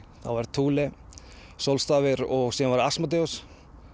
Thule sólstafir og